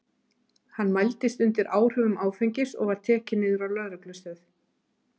Hann mældist undir áhrifum áfengis og var tekinn niður á lögreglustöð.